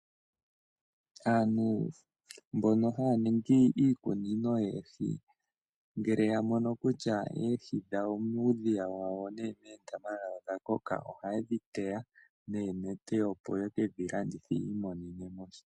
Aantu mbono haya ningi iikunino yeehi ngele ya mono kutya ehi dhawo muudhiya wawo nenge meendama dhawo odha koka oha ye dhi teya neenete opo ye kedhi landithe yi imonene sha.